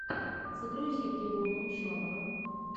загрузи трибуна ученого